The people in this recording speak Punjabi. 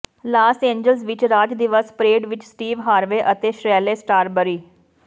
ਲਾਸ ਏਂਜਲਸ ਵਿਚ ਰਾਜ ਦਿਵਸ ਪਰੇਡ ਵਿਚ ਸਟੀਵ ਹਾਰਵੇ ਅਤੇ ਸ਼ੈਰਲੇ ਸਟਰਾਬਰੀ